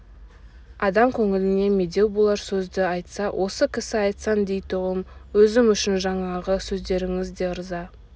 адам көңіліне медеу болар сөзді айтса осы кісі айтсын дейтұғым өзім үшін жаңағы сөздеріңіз де ырза